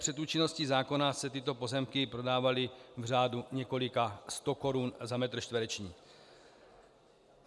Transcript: Před účinností zákona se tyto pozemky prodávaly v řádu několika stokorun za metr čtvereční.